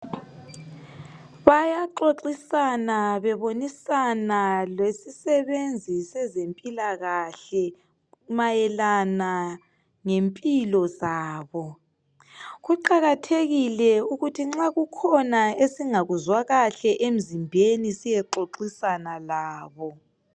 Bayaxoxisana bebonisana lesisebenzi sezempilakahle mayelana ngempilo zabo kuqakathekile ukuthi nxa kukhona esingakuzwa kahle emzimbeni siyexoxisana labo.